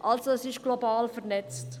Es ist also global vernetzt.